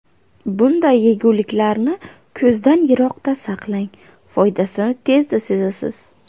Bunday yeguliklarni ko‘zdan yiroqda saqlang, foydasini tezda sezasiz.